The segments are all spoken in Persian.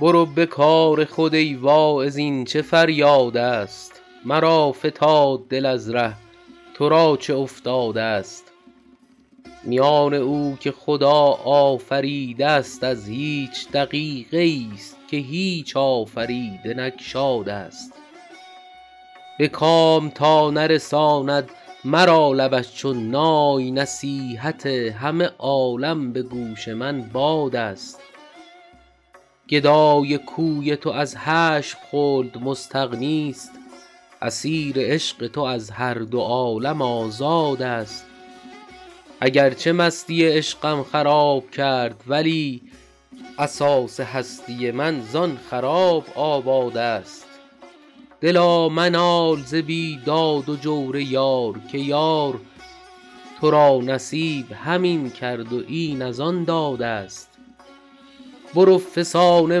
برو به کار خود ای واعظ این چه فریادست مرا فتاد دل از ره تو را چه افتادست میان او که خدا آفریده است از هیچ دقیقه ای ست که هیچ آفریده نگشادست به کام تا نرساند مرا لبش چون نای نصیحت همه عالم به گوش من بادست گدای کوی تو از هشت خلد مستغنی ست اسیر عشق تو از هر دو عالم آزادست اگر چه مستی عشقم خراب کرد ولی اساس هستی من زآن خراب آبادست دلا منال ز بیداد و جور یار که یار تو را نصیب همین کرد و این از آن دادست برو فسانه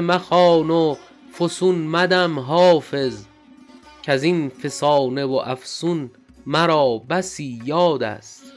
مخوان و فسون مدم حافظ کز این فسانه و افسون مرا بسی یادست